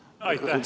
Aitäh, härra Ligi!